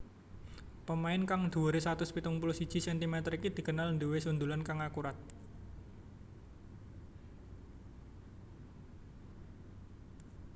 Pemain kang dhuwuré satus pitung puluh siji centimeter iki dikenal nduwé sundulan kang akurat